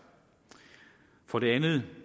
for det andet